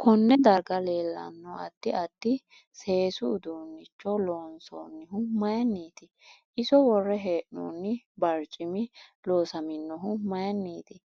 Konne darga leelanno addi addi sesu uduunicho loonsoonihu mayiiniiti iso worre heenooni barcimi loosaminohu mayiiniiti